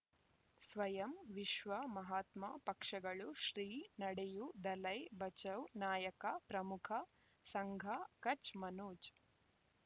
ಸ್ವಯಂ ವಿಶ್ವ ಮಹಾತ್ಮ ಪಕ್ಷಗಳು ಶ್ರೀ ನಡೆಯೂ ದಲೈ ಬಚೌ ನಾಯಕ ಪ್ರಮುಖ ಸಂಘ ಕಚ್ ಮನೋಜ್